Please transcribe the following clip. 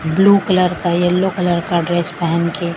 blue colour का yellow colour का dress पैहन के --